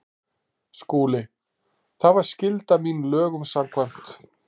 SKÚLI: Það var skylda mín lögum samkvæmt.